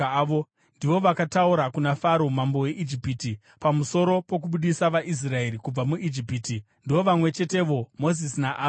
Ndivo vakataura kuna Faro mambo weIjipiti pamusoro pokubudisa vaIsraeri kubva muIjipiti. Ndivo vamwe chetevo Mozisi naAroni.